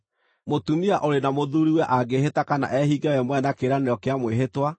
“Mũtumia ũrĩ na mũthuuriwe angĩĩhĩta kana ehinge we mwene na kĩĩranĩro kĩa mwĩhĩtwa,